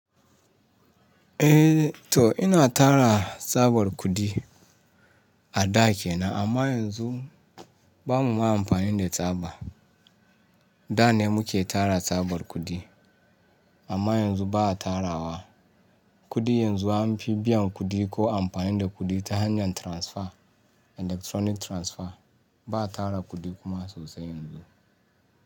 Eh to ina tara tsabar kuɗi a da kenan amma yanzu bamu ma amfani da tsaba. Da ne muke tara tsabar kuɗi amma yanzu ba a tarawa. Kuɗi yanzu an fi biyan kuɗi ko amfani da kuɗi ta hanyar transfer, electronic transfer. Ba tara kuɗi kuma sosai yanzu.